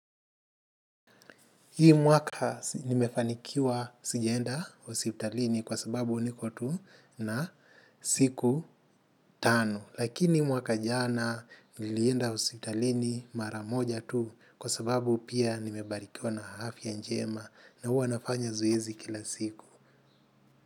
Hii mwaka nimefanikiwa sijaenda hospitalini kwa sababu niko tu na siku tano. Lakini mwaka jana nilienda hospitalini mara moja tu kwa sababu pia nimebarikiwa na afya njema na huwa nafanya zoezi kila siku.